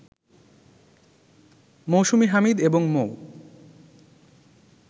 মৌসুমী হামিদ এবং মৌ